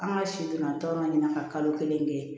An ka si donna tɔn ɲina ka kalo kelen kɛ